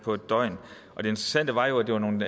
på en døgn og det interessante var jo at det var nogle